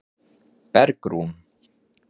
Bergrún